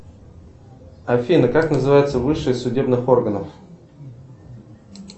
афина как называется высшее судебных органов